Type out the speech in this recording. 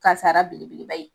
Kasara belebeleba ye.